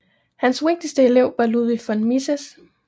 Hans vigtigste elev var Ludwig von Mises